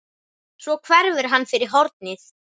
Svo hverfur hann fyrir hornið.